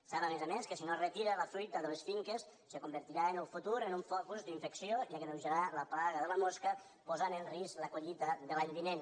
sap a més a més que si no es retira la fruita de les finques es convertirà en el futur en un focus d’infecció i agreujarà la plaga de la mosca i posarà en risc la collita de l’any vinent